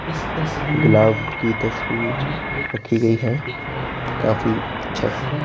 गुलाब की तस्वीर रखी गई है काफी अच्छे से--